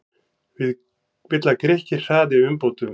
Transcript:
Vill að Grikkir hraði umbótum